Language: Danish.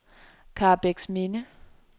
Karrebæksminde